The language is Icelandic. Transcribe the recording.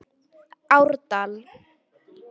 Árdal